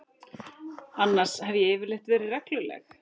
Annars hef ég yfirleitt verið regluleg.